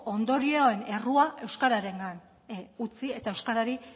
ondorioen errua euskararengan utzi eta euskarari